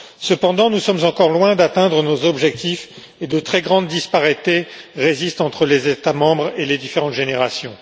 Cependant, nous sommes encore loin d'atteindre nos objectifs et de très grandes disparités persistent entre les États membres et les différentes générations.